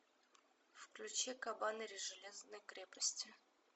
включи кабанери железной крепости